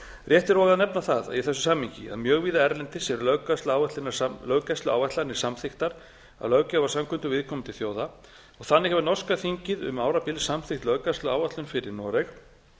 rétt er og að nefna það í þessu samhengi að mjög víða erlendis eru löggæsluáætlanir samþykktar af löggjafarsamkundum viðkomandi þjóða og þannig hefur norska þingið um árabil samþykkt löggæsluáætlun fyrir noreg